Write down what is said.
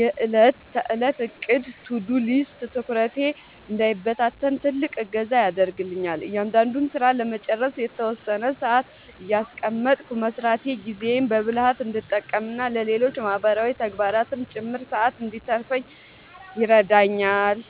የዕለት ተዕለት ዕቅድ (To-Do List) ትኩረቴ እንዳይበታተን ትልቅ እገዛ ያደርግልኛል። እያንዳንዱን ሥራ ለመጨረስ የተወሰነ ሰዓት እያስቀመጥኩ መሥራቴ ጊዜዬን በብልሃት እንድጠቀምና ለሌሎች ማህበራዊ ተግባራትም ጭምር ሰዓት እንድተርፈኝ ይረዳኛል።